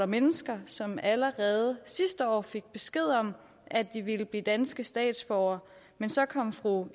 mennesker som allerede sidste år fik besked om at de vil blive danske statsborgere men så kom fru